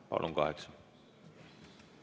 Palun, kokku kaheksa!